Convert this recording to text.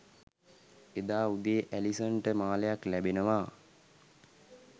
එදා උදේ ඇලිසන්ට මාලයක් ලැබෙනවා